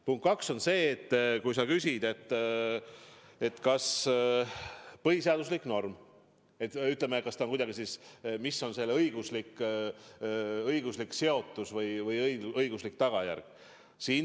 Punkt kaks on see, et sa küsid, kas see on põhiseaduslik norm: kas on või milline on selle õiguslik seotus, õiguslik tagajärg?